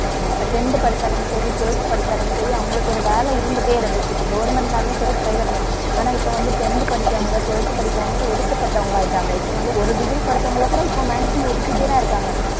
tenth படிச்சாலும் சரி, twelfth படிச்சாலும் சரி, அவங்களுக்கு ஒரு வேலை இருந்துட்டே இருந்துச்சு. இப்ப government னாலும் சரி, private னாலும், ஆனா இப்ப வந்து tenth படிக்கிறவங்க twelfth படிக்கிறவங்க ஒதுக்கப்பட்டவங்களாயிட்டாங்க. இப்ப வந்து ஒரு degree படிச்சவங்களகூட maximum ஒதுக்கிட்டேதான் இருக்காங்க.